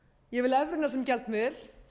ég vil evruna sem gjaldmiðil